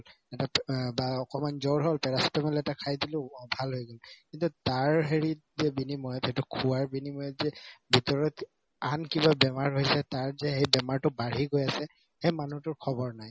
অ বা অকমান জ্বৰ হল paracetamol এটা খাই দিলো অ ভাল হৈ গল কিন্তু তাৰ হেৰিত যে বিনিময়ত সেইটো খোৱাৰ বিনিময়ত যে ভিতৰত আন কিবা বেমাৰ হৈছে তাৰ যে সেই বেমাৰতো বাঢ়ি গৈ আছে সেই মানুহতোৰ খবৰ নাই